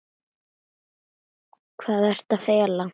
Hvað ertu að fela?